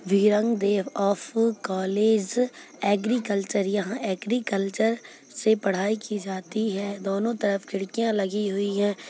Of college agriculture यहाँ agriculture से पढाई की जाति है दोनों तरफ खिड़कियाँ लगी हुई है।